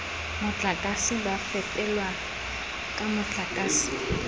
motlakase ba fepelwang ka motlakase